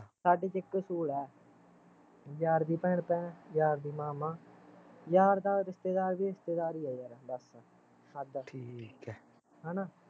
ਸਾਡੇ ਚ ਇੱਕ ਅਸੂਲ ਆ ਯਾਰ ਦੀ ਭੈਣ ਭੈਣ, ਯਾਰ ਦੀ ਮਾਂ ਮਾਂ ਯਾਰ ਦਾ ਰਿਸ਼ਤੇਦਾਰ ਵੀ ਰਿਸ਼ਤੇਦਾਰ ਈ ਆ ਬਸ ਸਾਡਾ ਹੈਨਾ